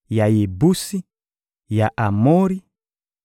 ya Yebusi, ya Amori, ya Girigazi,